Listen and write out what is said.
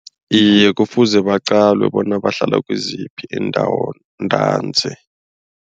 Iye kufuze baqalwe bona bahlala kiziphi iindawo ntanzi.